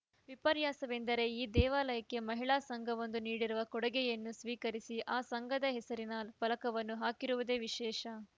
ವಿಪರ್ಯಾಸವೆಂದರೆ ಈ ದೇವಾಲಯಕ್ಕೆ ಮಹಿಳಾ ಸಂಘವೊಂದು ನೀಡಿರುವ ಕೊಡುಗೆಯನ್ನು ಸ್ವೀಕರಿಸಿ ಆ ಸಂಘದ ಹೆಸರಿನ ಫಲಕವನ್ನೂ ಹಾಕಿರುವುದು ವಿಶೇಷ